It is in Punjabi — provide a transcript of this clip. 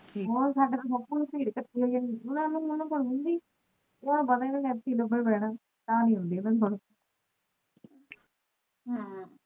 ਹੋਰ ਸਾਡੇ ਤਾਂ ਬਹੁਤ ਬੀੜ ਇਕੱਠੀ ਹੋਈ ਹੁਣੀ